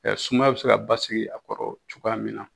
sumaya bɛ se ka basigi a kɔrɔ cogoya min na